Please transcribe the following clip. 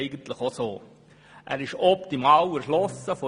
Der Standort ist optimal erschlossen.